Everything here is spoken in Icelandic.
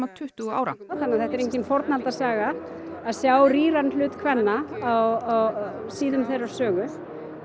tuttugu ára þannig að þetta er engin að sjá rýran hlut kvenna á síðum þeirrar sögu